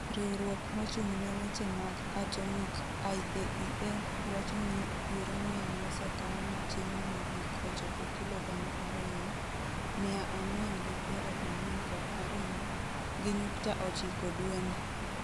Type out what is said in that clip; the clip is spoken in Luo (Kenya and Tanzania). riwruok mochung ne weche mag atomic(IAEA) wach ni uranium mosekan matin mogik ochopo kilo gana ariyo, mia ang'wen gi piero ang'wen kod ariyo, gi nyukta ochiko dwe ni